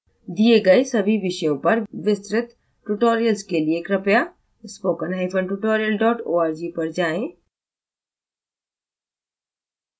दिए गए सभी विषयों पर विस्तृत ट्यूटोरियल्स के लिए कृपया